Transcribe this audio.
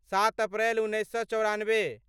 सात अप्रैल उन्नैस सए चौरानबे